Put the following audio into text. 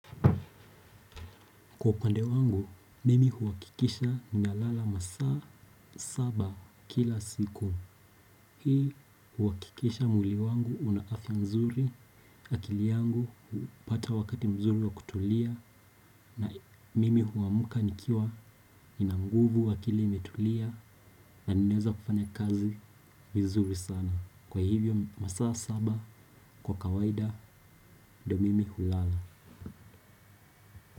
Kwa upande wangu, mimi huwakikisha ninalala masaa saba kila siku. Hii huwakikisha mwili wangu una afya mzuri, akili yangu hupata wakati mzuri wa kutulia na mimi huamka nikiwa nina nguvu akili imetulia na ninaeza kufanya kazi vizuri sana. Kwa hivyo masaa saba kwa kawaida do mimi hulala.